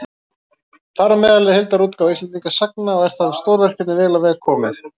Þar á meðal er heildarútgáfa Íslendingasagna, og er það stórverkefni vel á veg komið.